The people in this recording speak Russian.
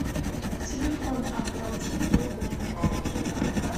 телефон оплатить другому